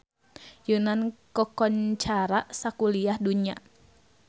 Yunan kakoncara sakuliah dunya